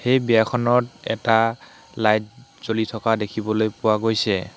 এই বিয়াখনত এটা লাইট জ্বলি থকা দেখিবলৈ পোৱা গৈছে।